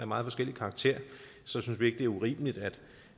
meget forskellig karakter synes vi ikke det er urimeligt